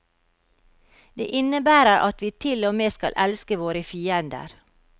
Det innebærer at vi til og med skal elske våre fiender.